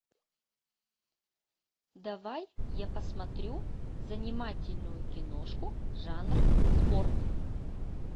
давай я посмотрю занимательную киношку жанр спорт